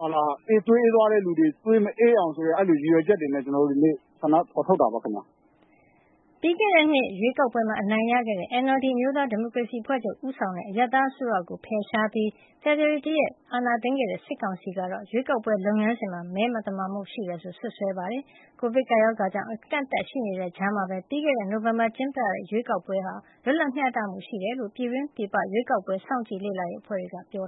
သွေးအေးသွားသူတွေ သွေးမအေးအောင် ဆိုတဲ့ ရည်ရွယ်ချက်တွေနဲ့ ကျနော်တို့ ဒီနေ့ ဆန္ဒဖော်ထုတ်တာပါ။” ပြီးခဲ့တဲ့နှစ် ရွေးကောက်ပွဲမှာ အနိုင်ရခဲ့တဲ့ NLD အမျိုးသားဒီမိုကရေစီအဖွဲ့ချုပ် ဦးဆောင်တဲ့ အရပ်သားအစိုးရကို ဖယ်ရှားပြီး ဖေဖော်ဝါရီလ ၁ ရက်နေ့က အာဏာသိမ်းခဲ့တဲ့ စစ်ကောင်စီကတော့ ရွေးကောက်ပွဲလုပ်ငန်းစဉ်မှာ မဲမသမာမှုတွေ ရှိခဲ့တယ်ဆိုပြီး စွပ်စွဲထားတာပါ။ ကိုဗစ်ကပ်ရောဂါကြောင့် အကန့်အသတ်တွေ ရှိနေတဲ့ကြားမှာပဲ ပြီးခဲ့တဲ့နှစ် နိုဝင်ဘာလထဲ ကျင်းပခဲ့တဲ့ ရွေးကောက်ပွဲဟာ လွတ်လပ်မျှတမှုရှိကြောင်း ပြည်တွင်း၊ ပြည်ပက ရွေးကောက်ပွဲ စောင့်ကြည့်လေ့လာရေး အဖွဲ့တွေက ပြော